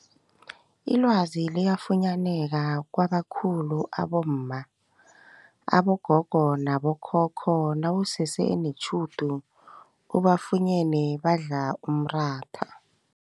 Ilwazi liyafunyaneka kwabakhulu abomma, abogogo nabo khokho nawusese netjhudu ubafunyene badla umratha.